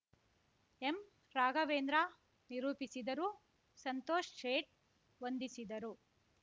ಎಂರಾಘವೇಂದ್ರ ನಿರೂಪಿಸಿದರು ಸಂತೋಷ್ ಶೇಟ್‌ ವಂದಿಸಿದರು